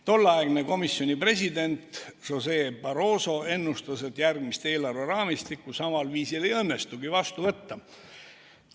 Tolleaegne komisjoni president José Barroso ennustas, et järgmist eelarveraamistikku samal viisil ei õnnestugi vastu võtta.